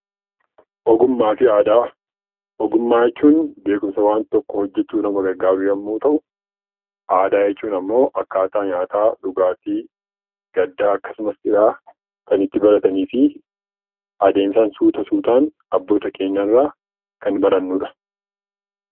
Ogummaa jechuun beekumsa waan tokko hojjachuuf nama gargaaru yoo ta'u, aadaa jechuun immoo akkaataa nyaataa, dhugaatii , gaddaa akkasumas gammachuu adeemsa suuta suutaan abboota keenyarraa kan barannudha